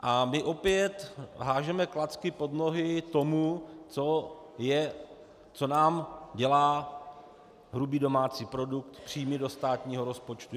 A my opět házíme klacky pod nohy tomu, co nám dělá hrubý domácí produkt, příjmy do státního rozpočtu.